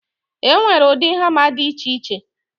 E nwere ụdị hama dị iche iche